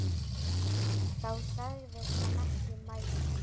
Þá sagðist hann ekki mæta.